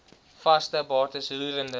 vaste bates roerende